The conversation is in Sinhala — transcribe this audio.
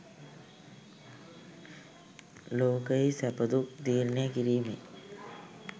ලෝකයෙහි සැප දුක් තීරණය කිරීමේ